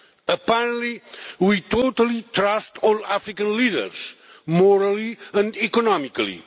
Apparently, we totally trust all African leaders morally and economically.